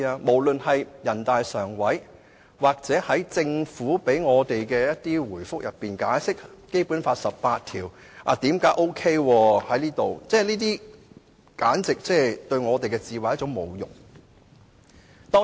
無論是人大常委會或政府就解釋為何《基本法》第十八條適用於香港而給我們的回覆，都像是侮辱我們的智慧似的。